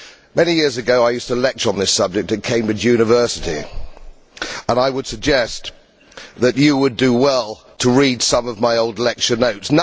Many years ago, I used to lecture on this subject at Cambridge University, and I would suggest that you would do well to read some of my old lecture notes.